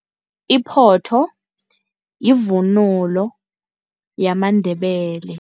Iphotho yivunulo yamaNdebele.